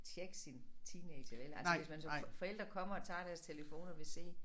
Tjekke sin teenager vel altså hvis man som for forælder kommer og tager deres telefon og vil se